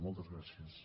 moltes gràcies